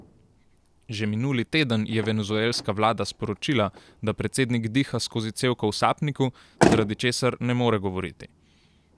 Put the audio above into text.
Že minuli teden je venezuelska vlada sporočila, da predsednik diha skozi cevko v sapniku, zaradi česar ne more govoriti.